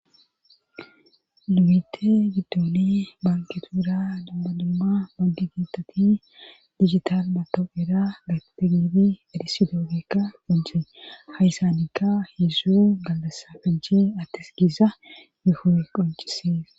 Libite giddoni banketuura dammadumma bangi giittati digital mato'era gate gibi adhisi doogekka qoncee hayssanikka heedzszu galdasafajjhe attes giisa gehoo7e qoncisees.